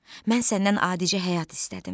Mən səndən adicə həyat istədim.